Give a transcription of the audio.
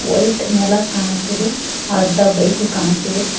White ನೆಲ ಕಾಣುತ್ತಿದೆ ಅರ್ಧ ಬೈಕು ಕಾಣುತ್ತಿದೆ.